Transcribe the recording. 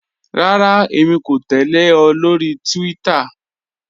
Rárá, èmi kò tẹ̀lẹ̀ ọ lórí Twitter.